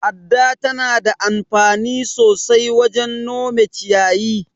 Adda tana anfani sosai wajen nome ciyayi.